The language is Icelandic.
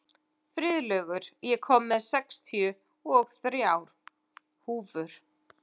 Friðlaugur, ég kom með sextíu og þrjár húfur!